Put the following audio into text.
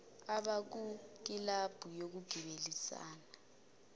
abakwi kilabhu yokugibelisana